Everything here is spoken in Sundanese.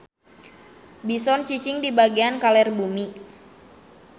Bison cicing di bagian kaler bumi.